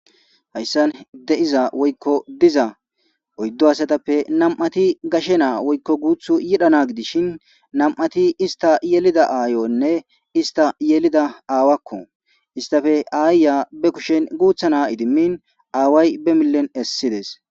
Hayssan de'iza woykko diza oyddu hasatappe nam'ati gashe naa woykko guuth yidhana gidishin nam'ati ista yelida aayonne ista yelida aawakko istafe aayya be kushen guuthana idimmin aaway be millen essides.